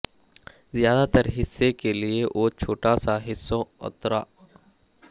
زیادہ تر حصے کے لئے وہ چھوٹے سا حصوں اترا